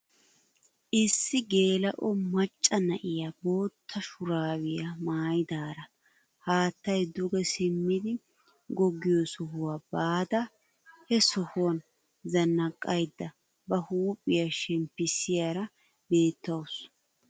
Issi geela'o macca na'iyaa bootta shuraabiyaa maayidara haattay duge simmidi goggiyoo sohuwaa baada he sohuwaan zannaqayda ba huuphphiyaa shemmpisiyaara beettawus.